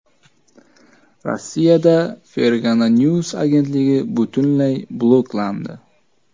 Rossiyada Fergana News agentligi butunlay bloklandi.